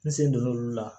N sen donn'olu la